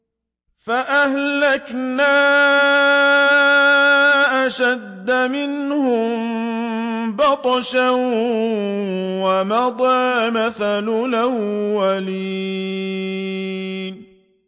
فَأَهْلَكْنَا أَشَدَّ مِنْهُم بَطْشًا وَمَضَىٰ مَثَلُ الْأَوَّلِينَ